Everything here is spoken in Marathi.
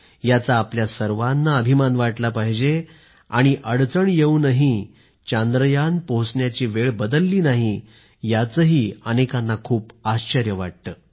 याचा आपल्या सर्वाना अभिमान वाटला पाहिजे आणि अडचण येऊनही चांद्रयान पोहोचायची वेळ बदलली नाही याचंही अनेकांना खूप आश्चर्य वाटतं